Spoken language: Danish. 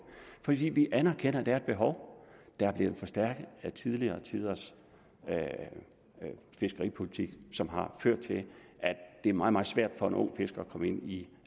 fordi vi anerkender at der er et behov der er blevet forstærket af tidligere tiders fiskeripolitik som har ført til at det er meget meget svært for en ung fisker at komme ind i